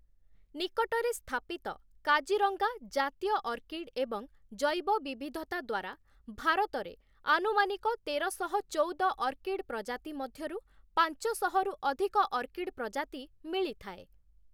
ନିକଟରେ ସ୍ଥାପିତ କାଜିରଙ୍ଗା 'ଜାତୀୟ ଅର୍କିଡ୍' ଏବଂ 'ଜୈବ ବିବିଧତା' ଦ୍ଵାରା ଭାରତରେ ଆନୁମାନିକ ତେରଶହ ଚଉଦ ଅର୍କିଡ୍ ପ୍ରଜାତି ମଧ୍ୟରୁ ପାଞ୍ଚଶହ ରୁ ଅଧିକ ଅର୍କିଡ୍ ପ୍ରଜାତି ମିଳିଥାଏ ।